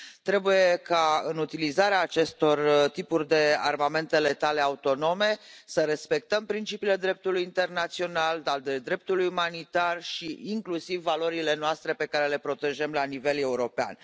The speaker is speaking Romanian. Trebuie ca în utilizarea acestor tipuri de armamente letale autonome să respectăm principiile dreptului internațional, principiile dreptului umanitar și inclusiv valorile noastre, pe care le protejăm la nivel european.